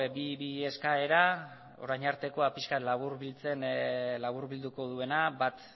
bi eskaera orain artekoa pixka bat laburbiltzen laburbilduko duena bat